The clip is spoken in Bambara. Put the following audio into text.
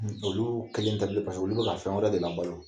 Olu kelen tɛbilen olu bɛ ka fɛn wɛrɛ de labalo